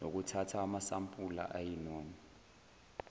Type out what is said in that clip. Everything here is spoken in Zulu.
nokuthatha amasampula ayinoma